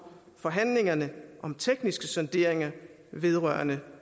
forhandlingerne om tekniske sonderinger vedrørende